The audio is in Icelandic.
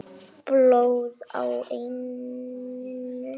Blóð á enninu.